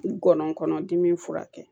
Gɔnɔ kɔnɔdimi furakɛ